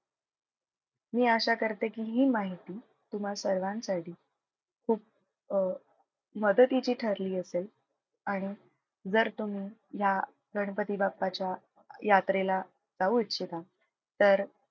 मी आशा करते की हि माहिती तुम्हा सर्वांसाठी खूप अह मदतीची ठरली असेल आणि जर तुम्ही या गणपती बाप्पाच्या यात्रेला जाऊ इच्छिता तर,